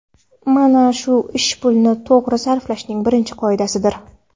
Mana shu ish pulni to‘g‘ri sarflashning birinchi qoidasidir.